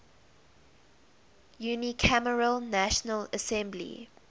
unicameral national assembly